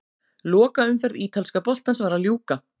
Lokaumferð ítalska boltans var að ljúka.